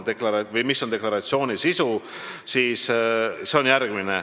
Te küsisite, mis on deklaratsiooni sisu.